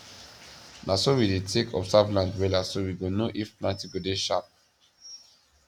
na so we dey take observe land wella so we go know if planting go dey sharp